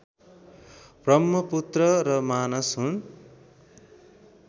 ब्रह्मपुत्र र मानस हुन्